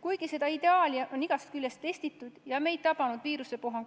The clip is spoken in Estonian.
Kuigi seda ideaali on igast küljest proovile pandud ja meid tabanud viirusepuhang